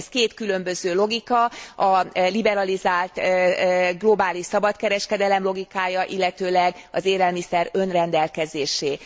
Két különböző logika a liberalizált globális szabad kereskedelem logikája, illetve az élelmiszer önrendelkezésé.